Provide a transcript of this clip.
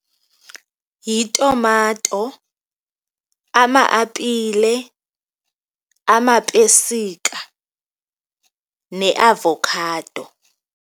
Yitumato, ama-apile, amapesika neavokhado.